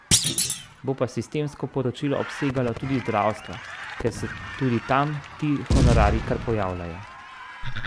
Bo pa sistemsko poročilo obsegalo tudi zdravstvo, ker se tudi tam ti honorarji kar pojavljajo.